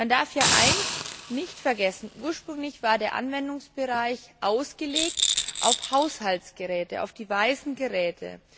Man darf eines nicht vergessen Ursprünglich war der Anwendungsbereich ausgelegt auf Haushaltsgeräte, auf die weißen Geräte.